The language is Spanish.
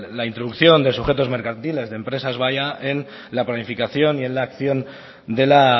la introducción de sujetos mercantiles de empresas vaya en la planificación y en la acción de la